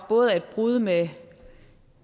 både er et brud med